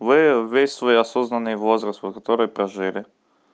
вы весь свой осознанный возраст вот которой прожили